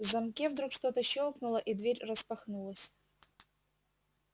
в замке вдруг что-то щёлкнуло и дверь распахнулась